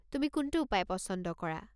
তুমি কোনটো উপায় পচন্দ কৰা?